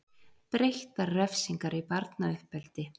Breyttar refsingar í barnauppeldi